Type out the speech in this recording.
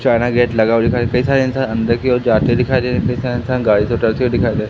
China gate लगा हुआ दिख रहा कई सारे इंसान अंदर की ओर जाते दिखाई दे रहे कई सारे इंसान गाड़ी से दिखाई दे रहे --